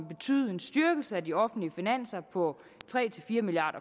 betyde en styrkelse af de offentlige finanser på tre fire milliard